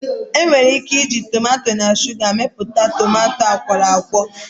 Enwere ike iji tomato na shuga emepụta tomato akwọrọakwọ